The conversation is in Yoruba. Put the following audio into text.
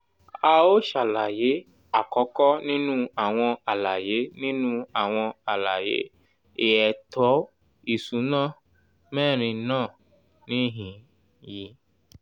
à ó ṣàlàyé àkọ́kọ́ nínú àwọn àlàyé nínú àwọn àlàyé èẹto ìsúná mẹ́rin náà níhìn-ín yi